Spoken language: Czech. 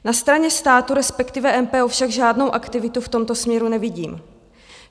Na straně státu, respektive MPO, však žádnou aktivitu v tomto směru nevidím.